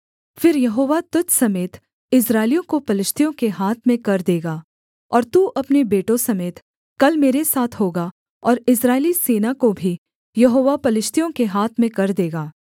फिर यहोवा तुझ समेत इस्राएलियों को पलिश्तियों के हाथ में कर देगा और तू अपने बेटों समेत कल मेरे साथ होगा और इस्राएली सेना को भी यहोवा पलिश्तियों के हाथ में कर देगा